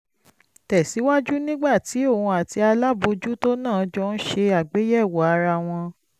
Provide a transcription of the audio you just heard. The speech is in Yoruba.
tẹ̀ síwájú nígbà tí òun àti alábòójútó náà jọ ń ṣe àgbéyẹ̀wò ara wọn